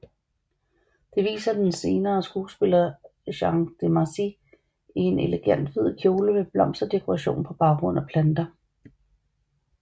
Det viser den senere skuespiller Jeanne Demarsy i en elegant hvid kjole med blomsterdekoration på en baggrund af planter